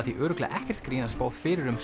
því örugglega ekkert grín að spá fyrir um